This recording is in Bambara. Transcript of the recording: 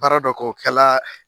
dɔ k'o kɛla